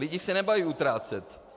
Lidé se nebojí utrácet.